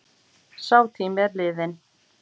Sá tími er liðinn.